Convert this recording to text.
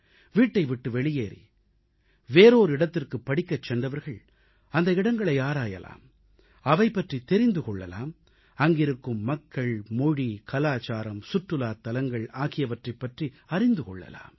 வீட்டைவிட்டு வெளியேறி வேறோர் இடத்திற்குப் படிக்கச் சென்றவர்கள் அந்த இடங்களை ஆராயலாம் அவை பற்றித் தெரிந்து கொள்ளலாம் அங்கிருக்கும் மக்கள் மொழி கலாச்சாரம் சுற்றுலாத் தலங்கள் ஆகியவற்றைப் பற்றி அறிந்து கொள்ளலாம்